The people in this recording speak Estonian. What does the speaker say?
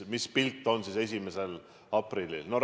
Mis pilt on siis 1. aprillil?